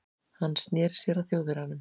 Hann sneri sér að Þjóðverjanum.